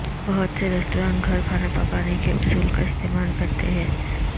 بہت سے ریستوران گھر کھانا پکانے کے اصول کا استعمال کرتے ہیں